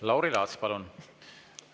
Lauri Laats, palun!